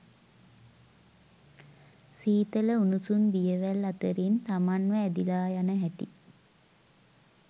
සීතල උණුසුම් දියවැල් අතරින් තමන්ව ඇදිලා යන හැටි